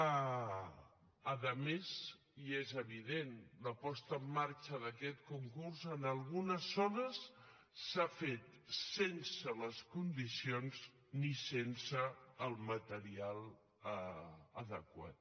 a més i és evident la posada en marxa d’aquest concurs en algunes zones s’ha fet sense les condicions i sense el material adequat